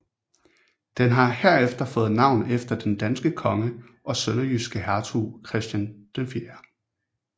Den har herefter fået navn efter den danske konge og sønderjyske hertug Christian 4